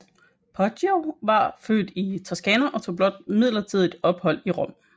Poggio var født i Toscana og tog blot midlertidig ophold i Rom